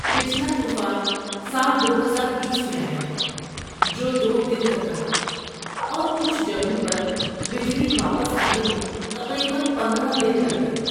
پچھلا طوفان سال دو ہزار بیس میں آیا تھا، جو دو دن تک رہا اور کچھ جگہوں پر بجلی واپس آنے میں تقریباً پندرہ دن لگ گئے